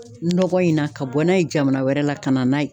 Nɔgɔ in na ka bɔ n'a ye jamana wɛrɛ la ka na n'a ye.